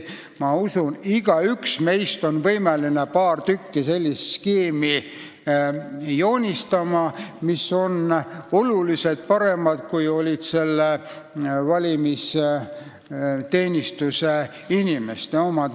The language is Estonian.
Ma usun, et igaüks meist on võimeline joonistama paar sellist skeemi, mis on oluliselt paremad, kui olid valimisteenistuse inimeste omad.